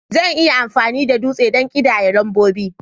Zan iya amfani da dutse don ƙidaya lambobi